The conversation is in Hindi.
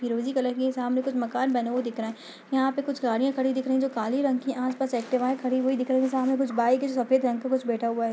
फिरोजी कलर के सामने कुछ मकान बने हुए दिख रहे हैं। यहाँ पर कुछ गाड़ियां खड़ी दिख रही है जो काले रंग की हैं। आसपास एक्टिवाये खड़ी हुई दिख रही हैं सामने कुछ बाइक हैं जो सफेद रंग का कुछ बैठा हुआ है।